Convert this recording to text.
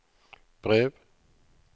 brev